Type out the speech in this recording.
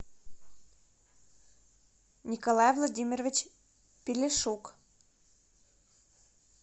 николай владимирович пелешук